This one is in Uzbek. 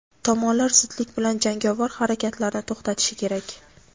tomonlar zudlik bilan jangovar harakatlarni to‘xtatishi kerak.